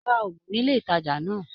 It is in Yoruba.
Rá ògùn nílé ìtàjà náà!